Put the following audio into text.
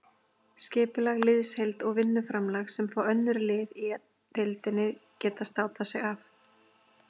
Skipulag, liðsheild og vinnuframlag sem fá önnur lið í deildinni geta státað sig af.